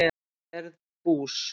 Gerð bús?